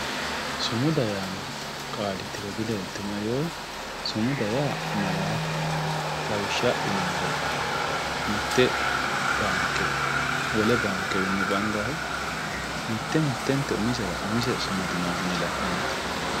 Sumuda yaano qaali tiro dileelitinoe yoo sumuda yaa malaateho lawishsha adhinuummoro mite baanke wole baankewinni bandanihu mite mittetera umisehu noohuni la'neti.